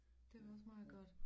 Det var også meget godt